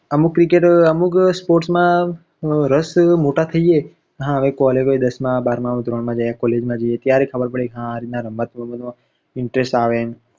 અમુક cricket, અમુક sports માં રસ મોટા થઈએ collage હોય દસ માં બારમાં ધોરણમાં college માં જઈએ ત્યારે ખબર પડે કે હા આરીત ના રમત ગમતમા interest આવે